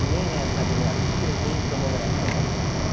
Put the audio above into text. Nem nas radiografias, nem em tomografia.